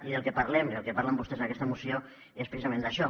i del que parlem i del que parlen vostès en aquesta moció és precisament d’això